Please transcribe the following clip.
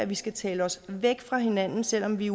vi skal tale os væk fra hinanden selv om vi